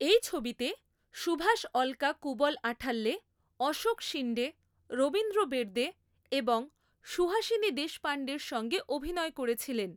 এই ছবিতে সুভাষ অলকা কুবল আঠাল্যে, অশোক শিন্ডে, রবীন্দ্র বের্দে এবং সুহাসিনী দেশপান্ডের সঙ্গে অভিনয় করেছিলেন।